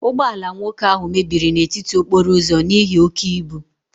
Ụgbọ ala nwoke ahụ mebiri n'etiti okporo ụzọ n'ihi oke ibu